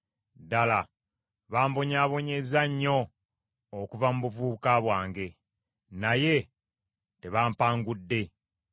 Ddala bambonyaabonyezza nnyo okuva mu buvubuka bwange; naye tebampangudde.